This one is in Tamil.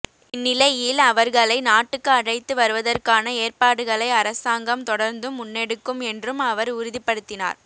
இந்நிலையில் அவர்களை நாட்டுக்கு அழைத்து வருவதற்கான ஏற்பாடுகளை அரசாங்கம் தொடர்ந்தும் முன்னெடுக்கும் என்றும் அவர் உறுதிப்படுத்தினார்